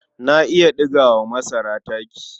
Na iya ɗiga wa masara taki.